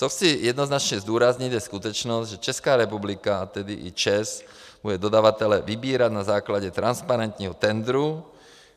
Co chci jednoznačně zdůraznit, je skutečnost, že Česká republika, a tedy i ČEZ, bude dodavatele vybírat na základě transparentního tendru.